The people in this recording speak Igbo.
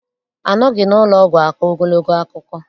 Anọghị n'ụlọọgwụ akọ ogologo akụkọ.